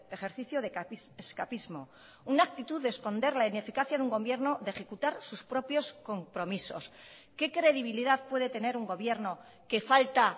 ejercicio de escapismo una actitud de esconder la ineficacia de un gobierno de ejecutar sus propios compromisos qué credibilidad puede tener un gobierno que falta